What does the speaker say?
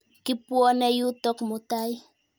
Kipwone yutok mutai.